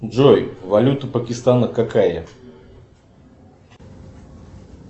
джой валюта пакистана какая